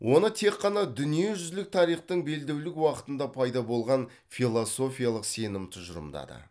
оны тек қана дүниежүзілік тарихтың белдеулік уақытында пайда болған философиялық сенім тұжырымдады